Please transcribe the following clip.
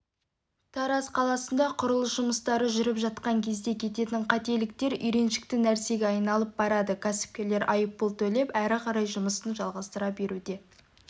тараз қаласында құрылыс жұмыстары жүріп жатқан кезде кететін қателіктер үйреншікті нәрсеге айналып барады кәсіпкерлер айыппұл төлеп әрі қарай жұмысын жалғастыра беруге